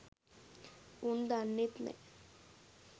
උන් දන්නෙත් නෑ